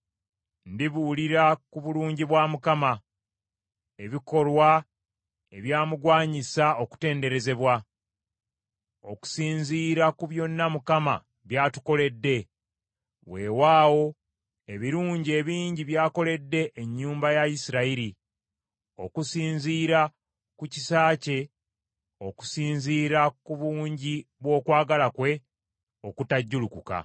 Ndibuulira ku bulungi bwa Mukama , ebikolwa ebyamugwanyisa okutenderezebwa, okusinziira ku byonna Mukama by’atukoledde; weewaawo ebirungi ebingi by’akoledde ennyumba ya Isirayiri, okusinziira ku kisa kye, okusinziira ku bungi bw’okwagala kwe okutajjulukuka.